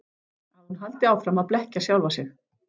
Að hún haldi áfram að blekkja sjálfa sig.